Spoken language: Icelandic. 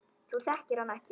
Þú þekkir hann ekki.